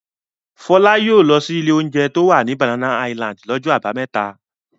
Fọlá yóò lọ ilé-oúnjẹ tí ó wà ní Banana Island lọ́jọ́ àbámẹ́ta.